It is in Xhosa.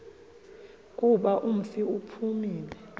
kuba umfi uphumile